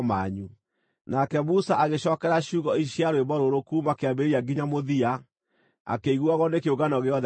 Nake Musa agĩcookera ciugo ici cia rwĩmbo rũrũ kuuma kĩambĩrĩria nginya mũthia, akĩiguagwo nĩ kĩũngano gĩothe gĩa Isiraeli: